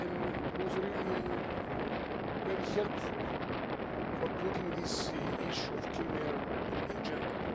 It was really very helpful for putting the issue of clean air on the agenda.